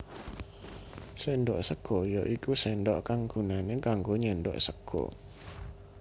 Séndhok sega ya iku sendok kang gunané kanggo nyendhok sega